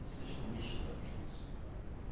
23 nicht anschließen kann.